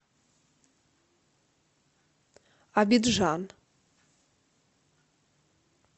абиджан